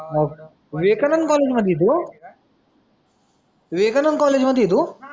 Okay, Vivekanand college मध्ये आहे तू? विवेकानंद कॉलेज मध्ये आहे तू?